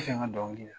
I fɛ n ka dɔnkili da